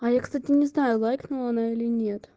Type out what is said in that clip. а я кстати не знаю лайкнула она или нет